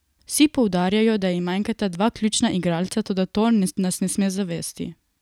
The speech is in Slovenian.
Vsi poudarjajo, da jim manjkata dva ključna igralca, toda to nas ne sme zavesti.